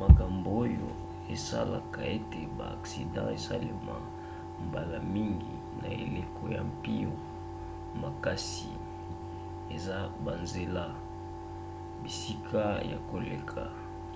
makambo oyo esalaka ete baaksida esalema mbala mingi na eleko ya mpio makasi eza banzela bisika ya koleka